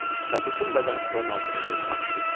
Və bütün bədəni stolun altında gözdən itdi.